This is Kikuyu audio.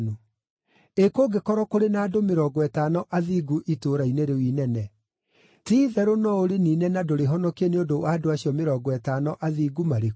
Ĩ kũngĩkorwo kũrĩ na andũ mĩrongo ĩtano athingu itũũra-inĩ rĩu inene? Ti-itherũ no ũrĩniine na ndũrĩhonokie nĩ ũndũ wa andũ acio mĩrongo ĩtano athingu marĩ kuo?